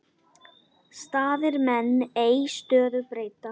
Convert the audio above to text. Staðir menn ei stöðu breyta.